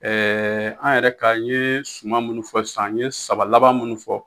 an yɛrɛ ka, n ye suma minnu fɔ sisan, n ye saba laban minnu fɔ.